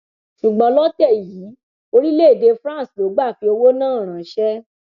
ṣùgbọn lọtẹ yìí orílẹèdè france ló gbà fi owó náà ránṣẹ